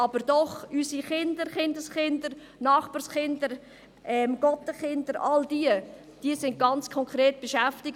Aber unsere Kinder, unsere Kindeskinder, unsere Nachbarskinder, Patenkinder – all diese Kinder sind ganz konkret betroffen.